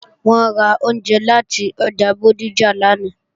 Wọ́n ra oúnjẹ láti ọjà Bódìjà lánàá